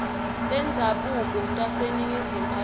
tendzabuko taseningizimu afrika